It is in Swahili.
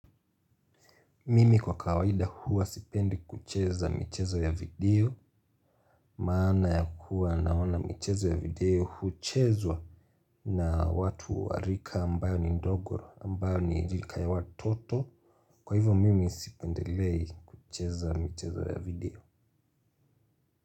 Mimi kwa kawaida huwa sipendi kucheza michezo ya video. Maana ya kuwa naona michezo ya video huchezwa na watu wa rika ambayo ni ndogo ambayo ni rika ya watoto. Kwa hivyo mimi sipendelei kucheza michezo ya video.